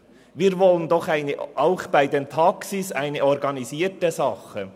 Wir wünschen doch auch bei den Taxis eine organisierte Form.